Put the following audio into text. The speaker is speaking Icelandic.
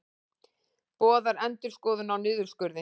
Boðar endurskoðun á niðurskurði